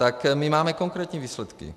Tak my máme konkrétní výsledky.